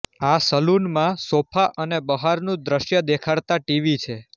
આ સલૂનમાં સોફા અને બહારનુ દ્શ્ય દેખાડતા ટીવી છે